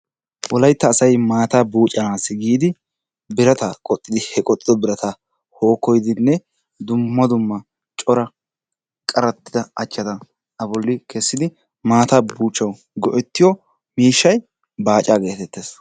Wolaytta asay maataa buccanassi giidi birata qoxxidi he qoxxiddo birata hookkoyidinne dumma dumma cora qarttidda achchata kessidi maataa buuchchawu go'ettiyo miishshay baacaa gettettees.